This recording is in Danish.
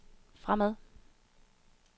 fremad